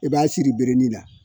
I b'a siri birin na